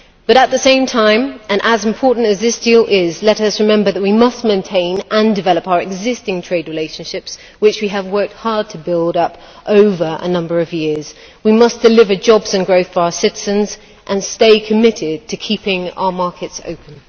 At the same time and as important as this deal is let us remember that we must maintain and develop our existing trade relationships, which we have worked hard to build up over a number of years. We must deliver jobs and growth for our citizens and stay committed to keeping our markets open.